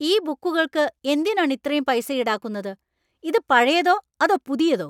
ഈ ബുക്കുകള്‍ക്ക് എന്തിനാണ് ഇത്രയും പൈസ ഈടാക്കുന്നത്? ഇത് പഴയതോ അതോ പുതിയതോ?